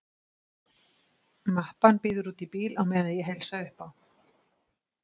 Mappan bíður úti í bíl á meðan ég heilsa upp á